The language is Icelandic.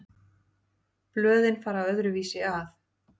Blöðin fara öðruvísi að.